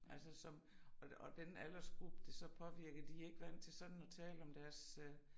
Altså som og og den aldersgruppe det så påvirker de ikke vant til sådan at tale om deres øh